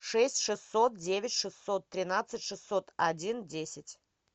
шесть шестьсот девять шестьсот тринадцать шестьсот один десять